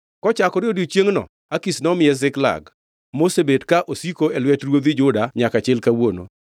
Kochakore odiechiengʼno Akish nomiye Ziklag, mosebet ka osiko e lwet ruodhi Juda nyaka chil kawuono.